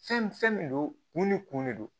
Fɛn fɛn min don kun ni kun de don